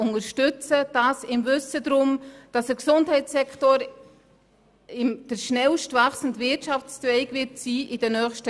Sie tut dies im Wissen darum, dass der Gesundheitssektor in den nächsten Jahren der am schnellsten wachsende Wirtschaftszweig sein wird.